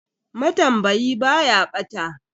Matambayi ba ya bata.